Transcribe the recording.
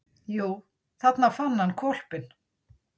Jú, þarna fann hann hvolpinn.